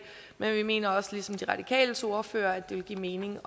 men vi mener også ligesom de radikales ordfører at det vil give mening